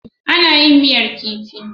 Ana yin miyar kifi.